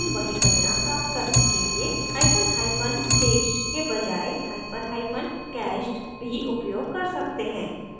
हम we परिणाम प्राप्त करने के लिए hyphen hyphen staged के बजाए hyphen hyphen cached भी उपयोग कर सकते हैं